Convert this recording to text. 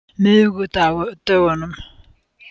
miðvikudögunum